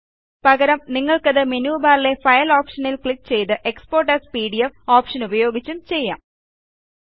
പകരം നിങ്ങൾക്കത് മെനു ബാറിലെ ഫൈൽ ഓപ്ഷനിൽ ക്ലിക്ക്ചെയ്ത് എക്സ്പോർട്ട് എഎസ് പിഡിഎഫ് ഓപ്ഷനുപയോഗിച്ചും ചെയ്യാം